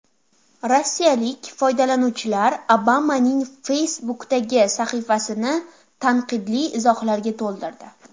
Rossiyalik foydalanuvchilar Obamaning Facebook’dagi sahifasini tanqidli izohlarga to‘ldirdi.